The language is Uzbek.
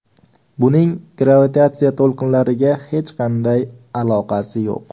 Buning gravitatsiya to‘lqinlariga hech qanday aloqasi yo‘q.